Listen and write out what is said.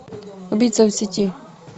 убийца в сети